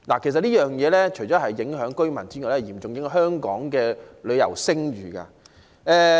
其實，這除了影響居民外，亦嚴重影響香港的旅遊聲譽。